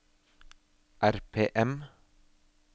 RPM